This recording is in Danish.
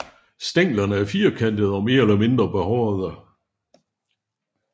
Stænglerne er firkantede og mere eller mindre behårede